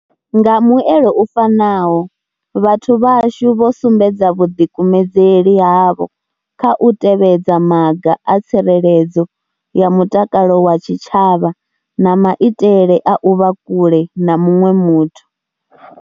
Nga muelo u fanaho, vhathu vhashu vho sumbedza vhuḓikumedzeli havho kha u tevhedza maga a tsireledzo ya mutakalo wa tshitshavha na maitele a u vha kule na muṅwe muthu.